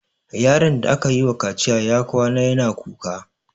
Yaron da aka yiwa kaciya ya kwana yana kuka.